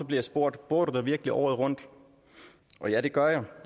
jeg spurgt bor du der virkelig året rundt ja det gør jeg